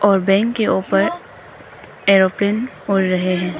और बैंक के ऊपर एरोप्लेन उड़ रहे हैं।